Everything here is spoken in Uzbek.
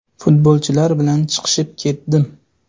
Futbolchilar bilan chiqishib ketdim.